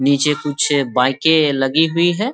नीचे कुछ बाइकें लगी हुई है।